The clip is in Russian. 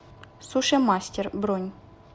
суши мастер бронь